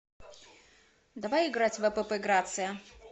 давай играть в апп грация